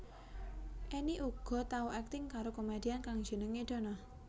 Enny uga tau akting karo komedian kang jenengé Dono